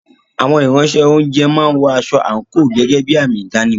Àwọn Ìránṣẹ́-oúnjẹ máa ń wọ aṣọ àǹkóò gẹ́gẹ́ bí àmì ìdánimọ̀.